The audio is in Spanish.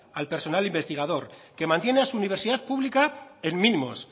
al personal investigador que mantiene a su universidad pública en mínimos